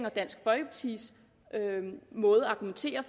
og dansk folkepartis måde at argumentere